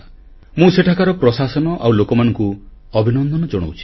ମୁଁ ସେଠାକାର ପ୍ରଶାସନ ଆଉ ଲୋକମାନଙ୍କୁ ଅଭିନନ୍ଦନ ଜଣାଉଛି